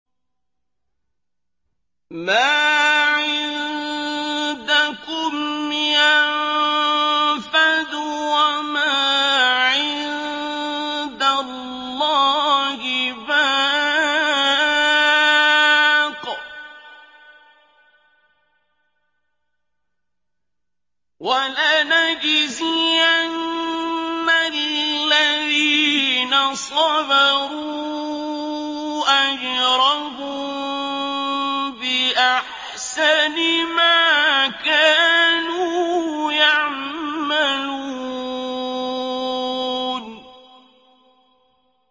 مَا عِندَكُمْ يَنفَدُ ۖ وَمَا عِندَ اللَّهِ بَاقٍ ۗ وَلَنَجْزِيَنَّ الَّذِينَ صَبَرُوا أَجْرَهُم بِأَحْسَنِ مَا كَانُوا يَعْمَلُونَ